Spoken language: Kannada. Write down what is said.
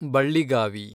ಬಳ್ಳಿಗಾವಿ